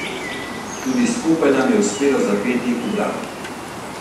Tudi skupaj nam je uspelo zapeti ubrano.